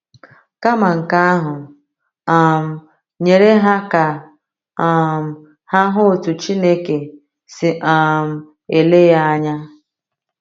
Kama nke ahụ, um nyere ha ka um ha hụ otu Chineke si um ele ya anya.